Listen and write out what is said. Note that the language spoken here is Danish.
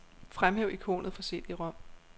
Fremhæv ikonet for cd-rom.